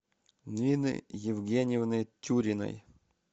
нины евгеньевны тюриной